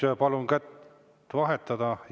Siis palun.